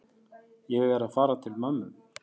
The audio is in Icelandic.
Ég er að fara til mömmu.